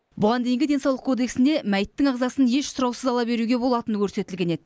бұған дейінгі денсаулық кодексінде мәйіттің ағзасын еш сұраусыз ала беруге болатыны көрсетілген еді